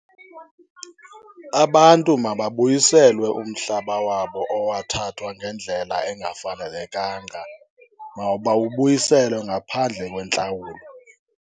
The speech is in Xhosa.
Abantu mababuyiselwe umhlaba wabo owathathwa ngendlela engafanelekanga. Mawubabuyiselwe ngaphandle kwentlawulo.